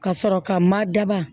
Ka sɔrɔ ka ma daba